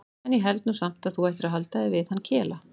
En ég held nú samt að þú ættir að halda þig við hann Kela.